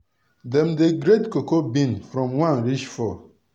dem dey grade cocoa bean from one reach four.